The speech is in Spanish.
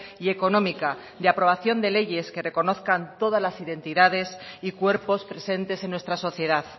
y económica de aprobación de leyes que reconozcan todas las identidades y cuerpos presentes en nuestra sociedad